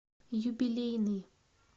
юбилейный